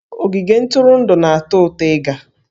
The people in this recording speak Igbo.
Ogige ntụrụndụ na-atọ ụtọ ịga